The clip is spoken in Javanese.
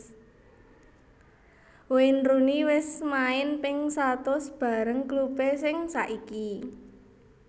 Wayne Rooney wes main ping satus bareng klub e sing saiki